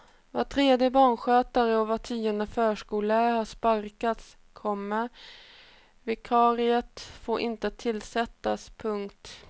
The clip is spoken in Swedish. Var tredje barnskötare och var tionde förskollärare har sparkats, komma vikariat får inte tillsättas. punkt